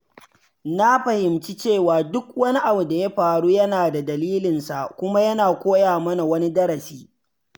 Na fahimci cewa duk wani abu da ya faru yana da dalilin sa kuma yana koya mana wani darasi.